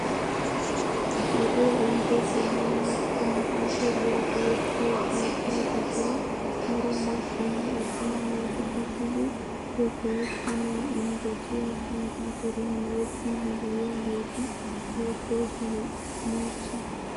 Wodee ehiido zammaana kompiiteriyaa go"ettiyoo keettaa giddon daro maccanne attuma naati uttidi he go'ettanawu injjettiyaa komppiiteriyaa go"ettiidi de'iyaageti beettoosona nuusi!